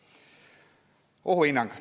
Esiteks, ohuhinnang.